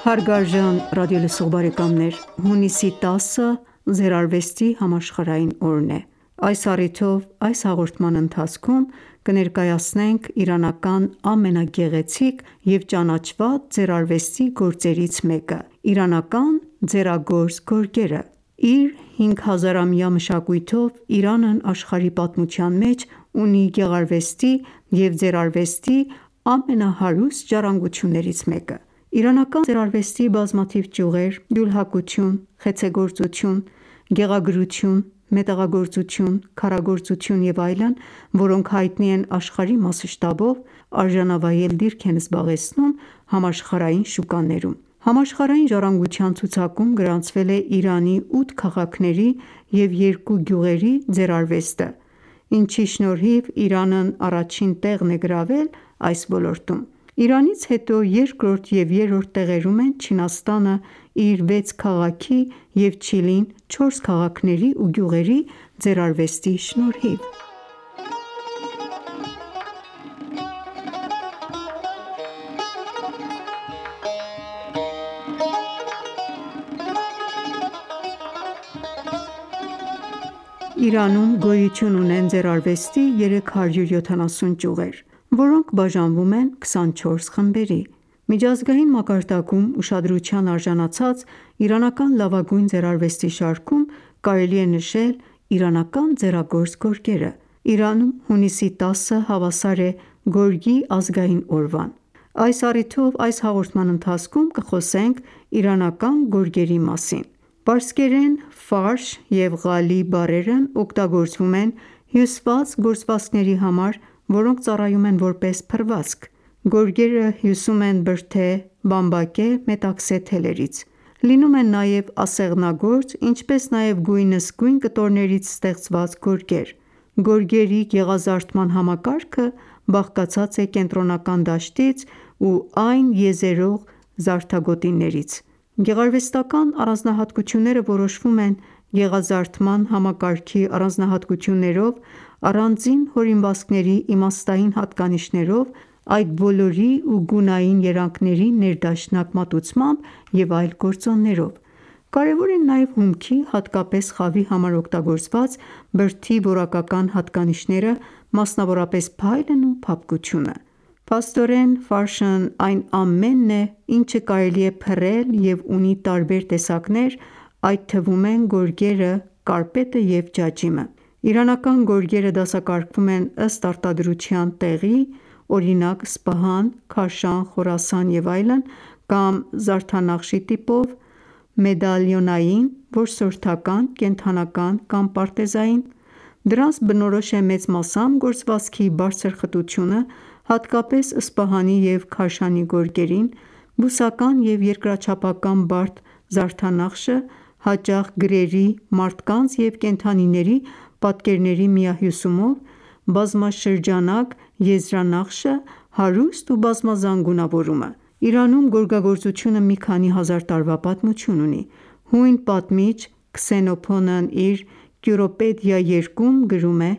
Հարգարժան ռադիոլսող բարեկամներ, հունիսի 10-ը ձեռարվեստի համաշխարհային օրն է։ Այս առիթով այս հաղորդման ընթացքում կներկայացնենք իրանական ամենագեղեցիկ և ճանաչված ձեռարվեստի գործերից մեկը՝ իրանական ձեռագործ գորգերը։ Ընկերակցեք մեզ: Իր 5000-ամյա մշակույթով Իրանն աշխարհի պատմության մեջ ունի գեղարվեստի ​​և ձեռարվեստի ամենահարուստ ժառանգություններից մեկը: Իրանական ձեռարվեստի բազմաթիվ ճյուղեր՝ ջուլհակություն, խեցեգործություն, գեղագրություն, մետաղագործություն, քարագործություն և այլն, որոնք հայտնի են աշխարհի մասշտաբով, արժանավայել դիրք են զբաղեցնում համաշխարհային շուկաներում։ Համաշխարհային ժառանգության ցուցակում գրանցվել է Իրանի 8 քաղաքների և երկու գյուղերի ձեռարվեստը, ինչի շնորհիվ Իրանն առաջին տեղն է գրավել այս ոլորտում։ Իրանից հետո երկրորդ և երրորդ տեղերում են Չինաստանը՝ իր 6 քաղաքի և Չիլին՝ 4 քաղաքների ու գյուղերի ձեռարվեստի շնորհիվ: Իրանում գոյություն ունեն ձեռարվեստի 370 ճյուղեր, որոնք բաժանվում են 24 խմբերի։ Միջազգային մակարդակում ուշադրության արժանացած իրանական լավագույն ձեռարվեստի շարքում կարելի է նշել իրանական ձեռագործ գորգերը։ Իրանում հունիսի 10-ը հավասար է գորգի ազգային օրվան։ Այս առիթով այս հաղորդման ընթացքում կխոսենք իրանական գորգերի մասին։ Պարսկերեն «ֆարշ» և «Ղալի» բառերն օգտագործվում են հյուսված գործվածքների համար, որոնք ծառայում են որպես փռվածք: Գորգերը հյուսում են բրդե, բամբակե, մետաքսե թելերից։ Լինում են նաև ասեղնագործ, ինչպես նաև գույնզգույն կտորներից ստեղծված գորգեր։ Գորգերի գեղազարդման համակարգը բաղկացած է կենտրոնական դաշտից ու այն եզերող զարդագոտիներից։ Գեղարվեստական առանձնահատկությունները որոշվում են գեղազարդման համակարգի առանձնահատկություններով, առանձին հորինվածքների իմաստային հատկանիշներով, այդ բոլորի ու գունային երանգների ներդաշնակ մատուցմամբ և այլ գործոններով։ Կարևոր են նաև հումքի՝ հատկապես խավի համար օգտագործված բրդի որակական հատկանիշները, մասնավորապես փայլն ու փափկությունը։ Փաստորեն Ֆարշն այն ​​ամենն է, ինչը կարելի է փռել և ունի տարբեր տեսակներ, այդ թվում են՝ գորգերը, կարպետը և ջաջիմը: Իրանական գորգերը դասակարգվում են ըստ արտադրության տեղի (օրինակ՝ «Սպահան», «Քաշան», «Խորասան» և այլն) կամ զարդանախշի տիպով («մեդալիոնային», «որսորդական», «կենդանական», «պարտեզային»)․ դրանց բնորոշ է մեծ մասամբ գործվածքի բարձր խտությունը (հատկապես Սպահանի և Քաշանի գորգերին), բուսական և երկրաչափական բարդ զարդանախշը (հաճախ գրերի, մարդկանց և կենդանիների պատկերների միահյուսումով), բազմաշրջանակ եզրանախշը, հարուստ ու բազմազան գունավորումը։ Իրանում գորգագործությունը մի քանի հազար տարվա պատմություն ունի։ Հույն պատմիչ Քսենոփոնն իր «Կյուրոպեդիա» երկում (Ք.ա. 430-345 թթ.) գրում է.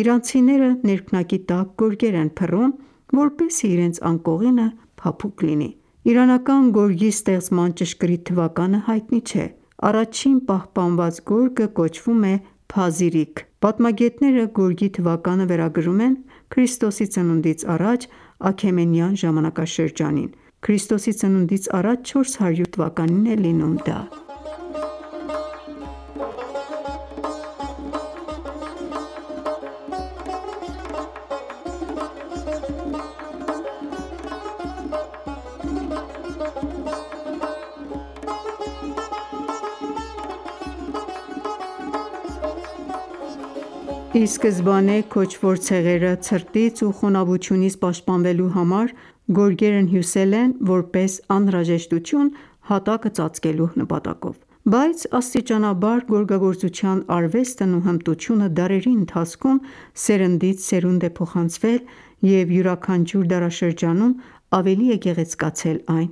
«Իրանցիները ներքնակի տակ գորգեր են փռում, որպեսզի իրենց անկողինը փափուկ լինի»: Իրանական գորգի ստեղծման ճշգրիտ թվականը հայտնի չէ։ Առաջին պահպանված գորգը կոչվում է «Փազիրիք»: Պատմագետները գորգի թվականը վերագրում են ՔԾԱ Աքեմենյան ժամանակաշրջանին` ՔԾԱ 400 թվականին: Ի սկզբանե քոչվոր ցեղերը ցրտից ու խոնավությունից պաշտպանվելու համար, գորգերն հյուսել են որպես անհրաժեշտություն՝ հատակը ծածկելու համար: Բայց աստիճանաբար գորգագործության արվեստն ու հմտությունը դարերի ընթացքում սերնդից սերունդ է փոխանցվել և յուրաքանչյուր դարաշրջանում ավելի է գեղեցկացել այն: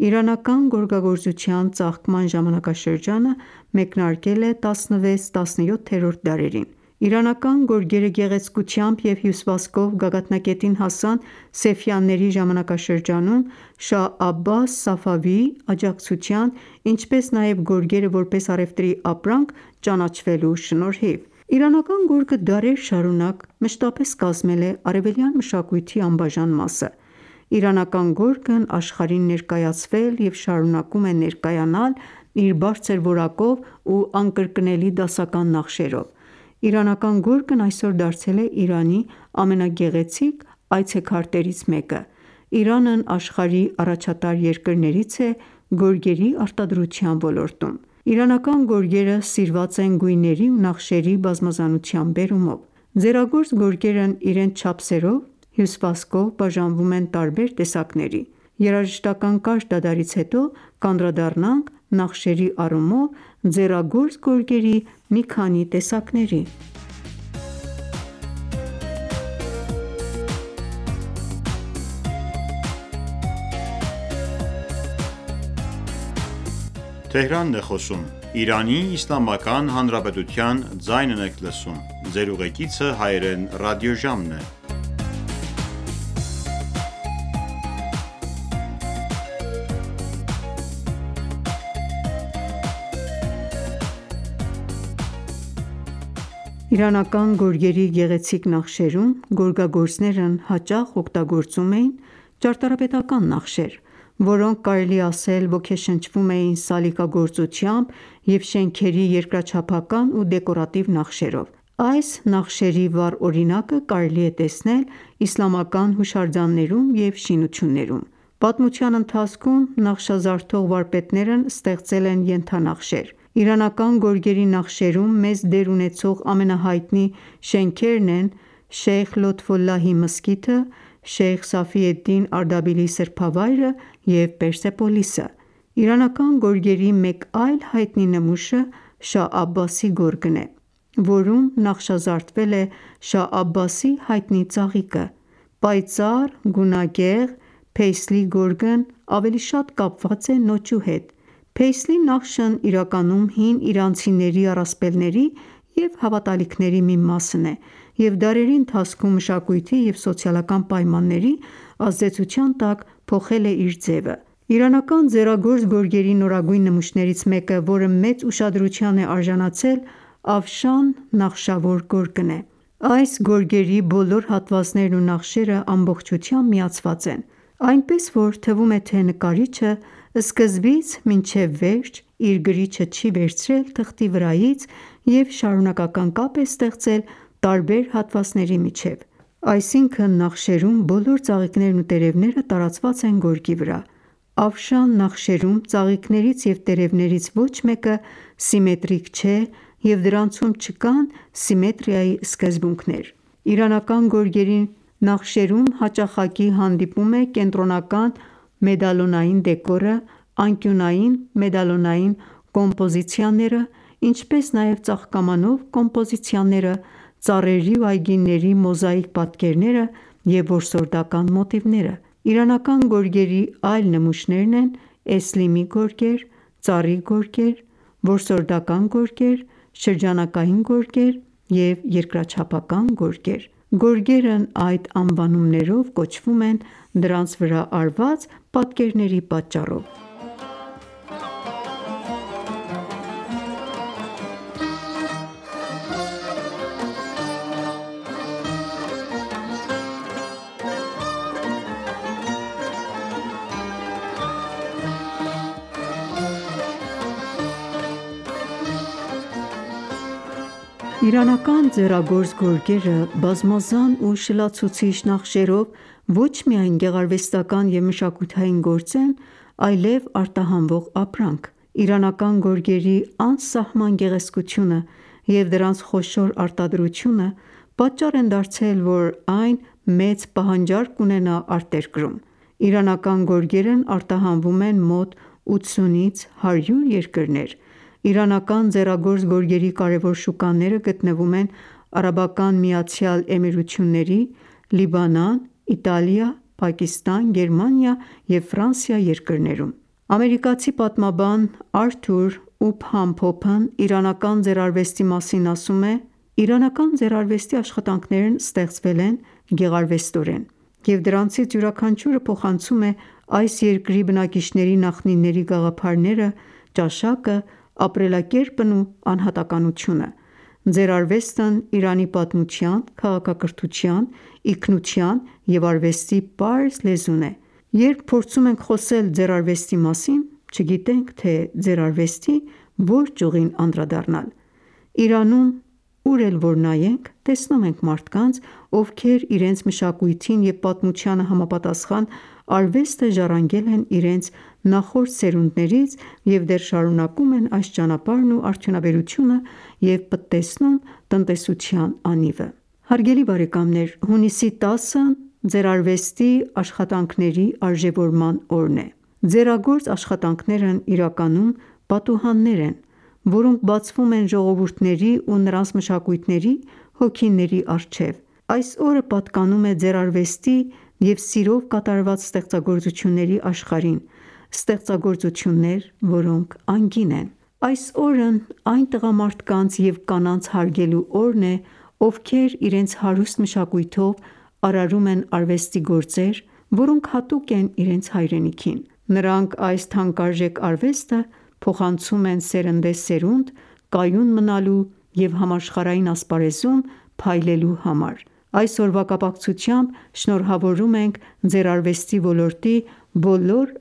Իրանական գորգագործության ծաղկման ժամանակաշրջանը մեկնարկել է XVI-XVII դարերին:Իրանական գորգերը գեղեցկությամբ և հյուսվածքով գագաթնակետին հասան Սեֆյանների ժամանակաշրջանում (մ.թ. 1501-1736 թթ.) Շահ Աբաս Սաֆավիի (Աբբաս I) աջակցության, ինչպես նաև գորգերը որպես առևտրի ապրանք ճանաչվելու շնորհիվ: Իրանական գորգը դարեր շարունակ մշտապես կազմել է արևելյան մշակույթի անբաժան մասը։ Իրանական գորգն աշխարհին ներկայացվել և շարունակում է ներկայանալ իր բարձր որակով ու անկրկնելի դասական նախշերով։ Իրանական գորգն այսօր դարձել է Իրանի ամենագեղեցիկ այցեքարտերից մեկը։ Իրանն աշխարհի առաջատար երկրներից է գորգերի արտադրության ոլորտում։ Իրանական գորգերը սիրված են գույների ու նախշերի բազմազանության բերումով։ Ձեռագործ գորգերն իրենց չափսերով, հյուսվածքով բաժանվում են տարբեր տեսակների։ Երաժշտական կարճ դադարից հետո կանդրադառնանք նախշերի առումով ձեռագործ գորգերի մի քանի տեսակների: Իրանական գորգերի գեղեցիկ նախշերում գորգագործներն հաճախ օգտագործում էին ճարտարապետական նախշեր, որոնք կարելի է ասել ոգեշնչվում էին սալիկգործությամբ և շենքերի երկրաչափական ու դեկորատիվ նախշերով: Այս նախշերի վառ օրինակը կարելի է տեսնել «Իսլամական հուշարձաններում և շինություններում»։ Պատմության ընթացքում նախշազարդող վարպետներն ստեղծել են ենթանախշեր: Իրանական գորգերի նախշերում մեծ դեր ունեցող ամենահայտնի շենքերն են «Շեյխ Լոթֆոլլահի մզկիթը», «Շեյխ Սաֆիեդդին Արդաբիլիի սրբավայրը» և «Պերսեպոլիսը»: Իրանական գորգերի մեկ այլ հայտնի նմուշը «Շահ Աբբասի» գորգն է, որում նախշազարդվել է Շահ Աբբասի հայտնի ծաղիկը։ Պայծառ, գունագեղ «փեյսլի գորգ »-ն ավելի շատ կապված է նոճու հետ։ փեյսլի նախշն իրականում հին իրանցիների առասպելների և հավատալիքների մի մասն է և դարերի ընթացքում մշակույթի և սոցիալական պայմանների ազդեցության տակ փոխել է իր ձևը։ Իրանական ձեռագործ գորգերի նորագույն նմուշներից մեկը, որը մեծ ուշադրության է արժանացել Աֆշան նախշավոր գորգն է։ Այս գորգերի բոլոր հատվածներն ու նախշերը ամբողջությամբ միացված են, այնպես, որ թվում է, թե նկարիչը սկզբից մինչև վերջ իր գրիչը չի վերցրել թղթի վրայից և շարունակական կապ է ստեղծել տարբեր հատվածների միջև։ Այսինքն՝ նախշերում բոլոր ծաղիկներն ու տերևները տարածված են գորգի վրա։ Աֆշան նախշերում ծաղիկներից և տերևներից ոչ մեկը սիմետրիկ չէ և դրանցում չկան սիմետրիայի սկզբունքներ: Իրանական գորգերի զարդանախշերում հաճախակի հանդիպում է կենտրոնական մեդալյոնային դեկորը, անկյունային մեդալյոնային կոմպոզիցիաները, ինչպես նաև ծաղկամանով կոմպոզիացիաները, ծառերի ու այգիների մոզաիկ պատկերները և որսորդական մոտիվները։ Իրանական գորգերի այլ նմուշներն են՝ էսլիմի գորգեր, ծառի գորգեր, որսորդական գորգեր, շրջանակային գորգեր, և երկրաչափական գորգեր: Գորգերն այդ անվանումներով կոչվում են, դրանց վրա արված պատկերների պատճառով։ Իրանական ձեռագործ գորգերը՝ բազմազան ու շլացուցիչ նախշերով, ոչ միայն գեղարվեստական ​​և մշակութային գործ են, այլև արտահանվող ապրանք: Իրանական գորգերի անսահման գեղեցկությունը և դրանց խոշոր արտադրությունը պատճառ են դարձել, որ այն մեծ պահանջարկ ունենա արտերկրում: Իրանական գորգերն արտահանվում են մոտ 80-ից 100 երկրներ։ Իրանական ձեռագործ գորգերի կարևոր շուկաները գտնվում են ԱՄԷ, Լիբանան, Իտալիա, Պակիստան, Գերմանիա և Ֆրանսիա երկրներում: Ամերիկացի պատմաբան Արթուր Ուփհամ Փոփն իրանական ձեռարվեստի մասին ասում է․-«Իրանական ձեռարվեստի աշխատանքներն ստեղծվել են գեղարվեստորեն են, և դրանցից յուրաքանչյուրը փոխանցում է այս երկրի բնակիչների նախնիների գաղափարները, ճաշակը, ապրելակերպն ու անհատականությունը: Ձեռարվեստն Իրանի պատմության, քաղաքակրթության, ինքնության և արվեստի պարզ լեզուն է։ Երբ փորձում ենք խոսել ձեռարվեստի մասին, չգիտենք, թե ձեռարվեստի որ ճյուղին անդրադառնալ։ Իրանում ուր էլ որ նայենք, տեսնում ենք մարդկանց, ովքեր իրենց մշակույթին և պատմությանը համապատասխան արվեստը ժառանգել են իրենց նախորդ սերունդներից և դեռ շարունակում են այս ճանապարհն ու արդյունաբերությունը և պտտեցնում տնտեսության անիվը։ Հունիսի 10-ն՝ ձեռարվեստի աշխատանքների արժեւորման օրն է։ Ձեռագործ աշխատանքներն իրականում պատուհաններ են, որոնք բացվում են ժողովուրդների ու նրանց մշակույթների հոգիների առջև: Այսօրը պատկանում է ձեռարվեստի և սիրով կատարված ստեղծագործությունների աշխարհին, ստեղծագործություններ, որոնք անգին են։ Այս օրնայն տղամարդկանց և կանանց հարգելու օրն է, ովքեր իրենց հարուստ մշակույթով արարում են արվեստի գործեր, որոնք հատուկ են իրենց հայրենիքին: Նրանք այս թանկարժեք արվեստը փոխանցում են սերնդեսերունդ՝ կայուն մնալու և համաշխարհային ասպարեզում փայլելու համար։ Այս օրվա կապակցությամբ շնորհավորում ենք ձեռարվեստի ոլորտի բոլոր